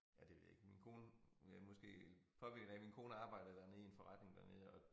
Ja det ved jeg ikke min kone øh måske påvirket af min kone arbejdede dernede i en forretning dernede og